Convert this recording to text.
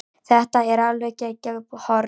Þetta var alveg geggjað horn.